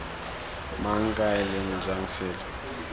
mang kae leng jang selo